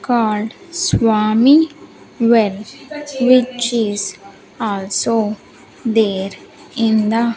called swami when which is also there in the --